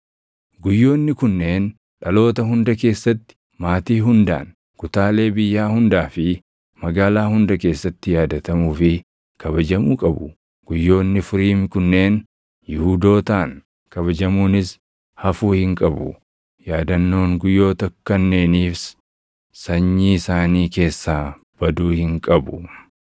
Guyyoonni kunneen dhaloota hunda keessatti, maatii hundaan, kutaalee biyyaa hundaa fi magaalaa hunda keessatti yaadatamuu fi kabajamuu qabu; guyyoonni Furiim kunneen Yihuudootaan kabajamuunis hafuu hin qabu; yaadannoon guyyoota kanneeniis sanyii isaanii keessaa baduu hin qabu.